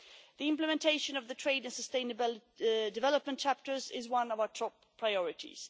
The implementation of the trade and sustainable development chapters is one of our top priorities.